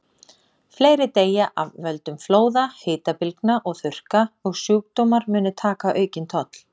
Fleiri deyja af völdum flóða, hitabylgna og þurrka, og sjúkdómar munu taka aukinn toll.